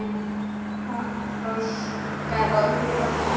Hvað orsakar offitu barna?